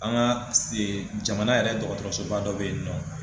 An ga ee jamana yɛrɛ dɔgɔtɔrɔsoba dɔ be yen nɔ